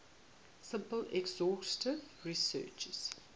simple exhaustive searches